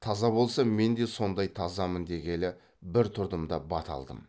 таза болса мен де сондай тазамын дегелі бір тұрдым да бата алдым